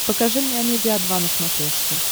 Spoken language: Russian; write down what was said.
покажи мне амедиа два на смотрешке